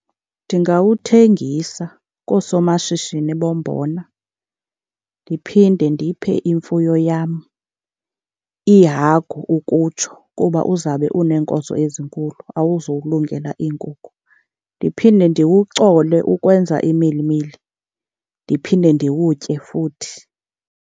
Ndingawuthengisa koosomashishini bombona, ndiphinde ndiphe imfuyo yam, iihagu ukutsho, kuba uzabe uneenkozo ezinkulu awuzokulungela iinkukhu. Ndiphinde ndiwucole ukwenza imilimili, ndiphinde ndiwutye futhi.